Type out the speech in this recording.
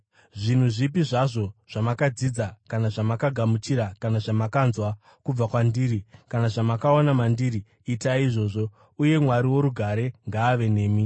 Zvinhu zvipi zvazvo zvamakadzidza kana zvamakagamuchira kana zvamakanzwa kubva kwandiri, kana zvamakaona mandiri, itai izvozvo. Uye Mwari worugare ngaave nemi.